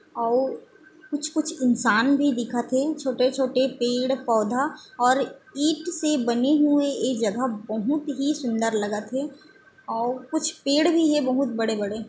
अउ कुछ- कुछ इंसान भी दिखत हे छोटे- छोटे पेड़ -पवधा अउ ईट से बने हुए ऐ जगह बहुत ही सुंदर लगत हे अउ कुछ पेड़ भी हे बहुत बड़े- बड़े |